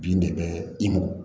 Bin de bɛ i mɔ